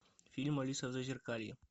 фильм алиса в зазеркалье